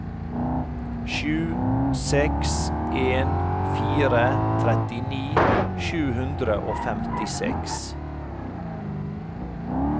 sju seks en fire trettini sju hundre og femtiseks